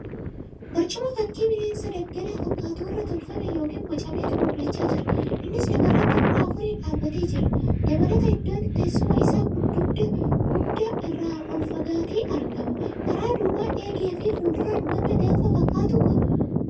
Barcuma fakkii bineensa daggalaa fakkaatu irraa tolfame yookiin bocametu mul'achaa jira. Innis lafa irratti luka afuriin dhaabatee jira. Dabalataa, iddoon teessuma isaa gugda irraa ol fagaatee argama. Kara duubaan eegee fi fuulduraan wanta gaanfa fakkaatu qaba.